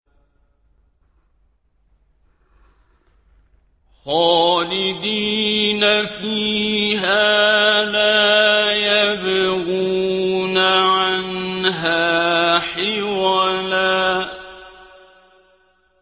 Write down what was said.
خَالِدِينَ فِيهَا لَا يَبْغُونَ عَنْهَا حِوَلًا